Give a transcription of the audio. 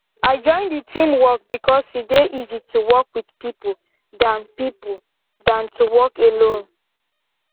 i join the team work because e dey easy to work with people dan people dan to work alone